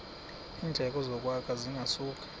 iindleko zokwakha zingasuka